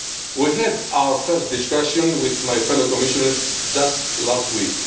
We had our first discussion with my fellow Commissioners just last